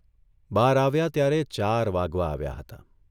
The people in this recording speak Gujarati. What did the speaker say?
બહાર આવ્યા ત્યારે ચાર વાગવા આવ્યા હતા.